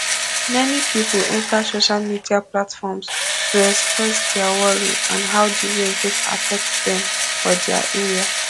many pipo enta social media platforms to express dia worry and how di rain take affect dem for dia area